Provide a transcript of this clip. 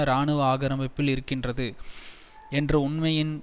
இராணுவ ஆக்கிரமிப்பில் இருக்கின்றது என்ற உண்மையின்